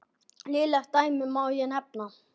Nýleg dæmi má nefna.